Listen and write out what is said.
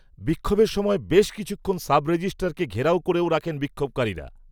বিক্ষোভের সময়, বেশ কিছুক্ষণ, সাব রেজিস্ট্রারকে, ঘেরাও করেও রাখেন বিক্ষোভকারীরা